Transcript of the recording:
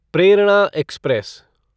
Prerna express